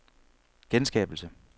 genskabelse